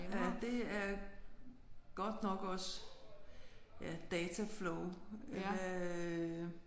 Ja det er godt nok også ja data flow øh